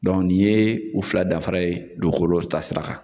n'i ye u fila dafara ye dugukolo ta sira kan